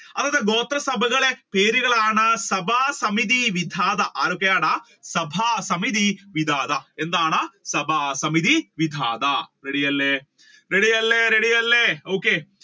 ഗോത്ര സഭകളുടെ പേരുകളാണ് സഭ സമിതി വിധാതാ ആണ് ആരൊക്കെയാണ് സഭ സമിതി വിധാതാ എന്താണ് സഭ സമിതി വിധാതാ ready അല്ലെ ready അല്ലെ ready